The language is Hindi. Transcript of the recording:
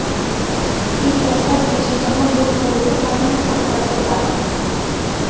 एक ऐसा देश जहाँ लोग बोलते कम हैं और करते ज्यादा हैं